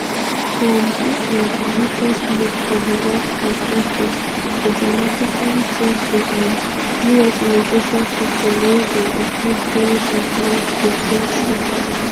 um dis na di latest move for di white house effort to dramatically change di um us immigration system wey bin include promise of mass de ten tions.